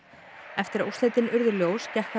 eftir að úrslitin urðu ljós gekk